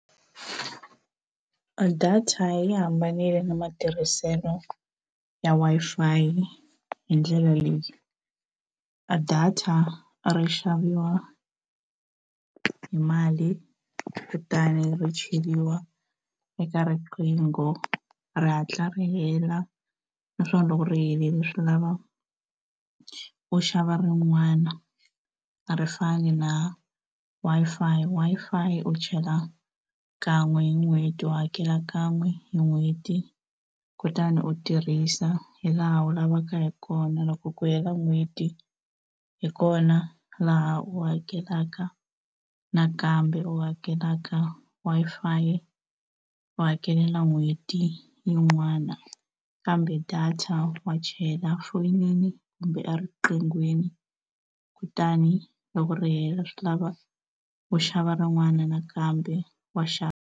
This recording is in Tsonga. A data yi hambanile na matirhiselo ya Wi-Fi yi hi ndlela leyi a data ri xaviwa hi mali kutani ri cheriwa eka riqingho ri hatla ri hela naswona loko ri helile swi lava u xava rin'wana a ri fani na Wi-Fi, Wi-Fi u chela kan'we hi n'hweti u hakela kan'we hi n'hweti kutani u tirhisa hi laha u lavaka hi kona loko ku hela n'hweti hi kona laha u hakelaka nakambe u hakelaka Wi-Fi u hakelela n'hweti yin'wana kambe data wa chayela foyinini kumbe eriqinghweni kutani loko ri hela swi lava u xava rin'wana nakambe wa .